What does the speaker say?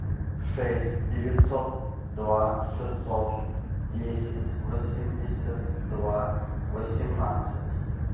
шесть девятьсот два шестьсот десять восемьдесят два восемнадцать